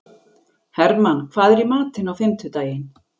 Hermann, hvað er í matinn á fimmtudaginn?